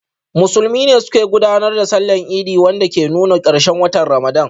Musulmi ne suke gudanar da Sallar Idi, wanda ke nuna karshen watan Ramadan.